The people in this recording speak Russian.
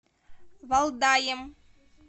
валдаем